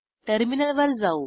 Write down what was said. टर्मिनलवर जाऊ